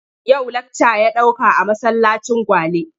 Yau lakca ya ɗauka a masallacin Gwale.